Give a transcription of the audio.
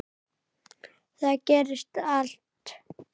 Þar gerist allt.